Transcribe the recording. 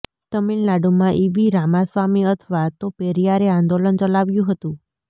તમિલનાડુમાં ઈવી રામાસ્વામી અથવા તો પેરીયારે આંદોલન ચલાવ્યું હતું